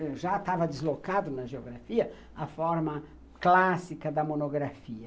Eu já estava deslocada na geografia à forma clássica da monografia.